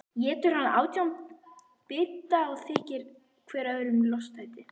Étur hann átján bita og þykir hver öðrum lostætari.